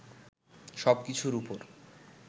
সব কিছুর ওপর